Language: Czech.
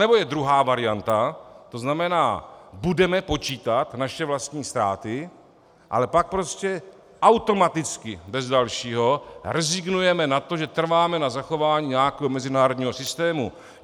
Anebo je druhá varianta, to znamená, budeme počítat naše vlastní ztráty, ale pak prostě automaticky bez dalšího rezignujeme na to, že trváme na zachování nějakého mezinárodního systému.